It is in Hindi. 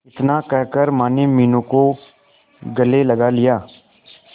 इतना कहकर माने मीनू को गले लगा लिया